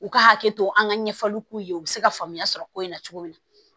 U ka hakɛ to an ka ɲɛfɔli k'u ye u bɛ se ka faamuya sɔrɔ ko in na cogo min na